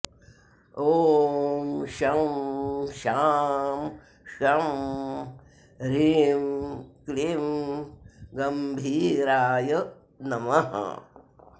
ॐ शं शां षं ह्रीं क्लीं गम्भीराय नमः